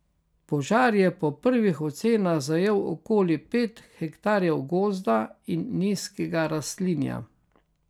Požar je po prvih ocenah zajel okoli pet hektarjev gozda in nizkega rastlinja.